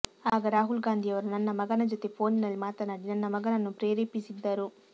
ಆಗ ರಾಹುಲ್ ಗಾಂಧಿಯವರು ನನ್ನ ಮಗನ ಜೊತೆ ಫೋನಿನಲ್ಲಿ ಮಾತನಾಡಿ ನನ್ನ ಮಗನನ್ನು ಪ್ರೇರೆಪಿಸಿದ್ದರು